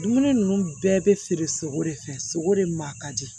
Dumuni ninnu bɛɛ bɛ feere sogo de fɛ sogo de maa ka di